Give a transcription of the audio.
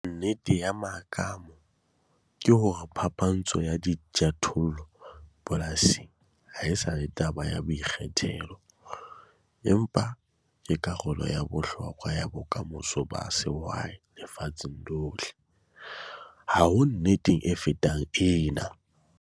Nnete ya mmakoma ke hore phapantsho ya dijothollo polasing ha e sa le taba ya boikgethelo, empa ke karolo ya bohlokwa ya bokamoso ba sehwai lefatsheng lohle. Ha ho nnete e fetang ena!